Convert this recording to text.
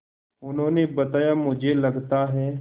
उन्होंने बताया मुझे लगता है